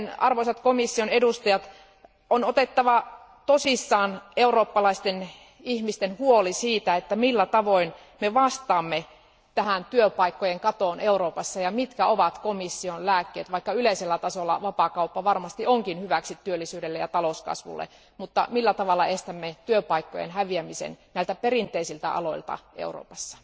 Joten arvoisat komission edustajat, on otettava tosissaan eurooppalaisten ihmisten huoli siitä, millä tavoin me vastaamme tähän työpaikkojen katoon Euroopassa ja mitkä ovat komission lääkkeet, vaikka yleisellä tasolla vapaakauppa varmasti onkin hyväksi työllisyydelle ja talouskasvulle, mutta millä tavalla estämme työpaikkojen häviämisen näiltä perinteisiltä aloilta Euroopassa.